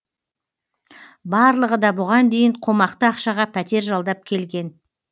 барлығы да бұған дейін қомақты ақшаға пәтер жалдап келген